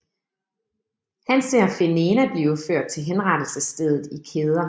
Han ser Fenena blive ført til henrettelsesstedet i kæder